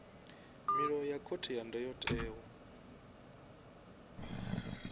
milayo ya khothe ya ndayotewa